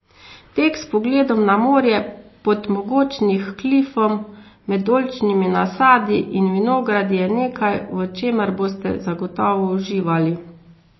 Tek s pogledom na morje, pod mogočnih klifom, med oljčnimi nasadi in vinogradi je nekaj, v čemer boste zagotovo uživali.